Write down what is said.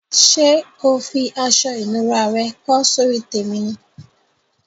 Sé o fi aso ìnura re kó sórí tèmi ni?